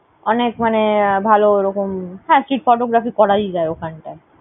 অনেক মানে আহ ভালো ওরকম। হ্যাঁ, street photography করাই যায় ওখানে।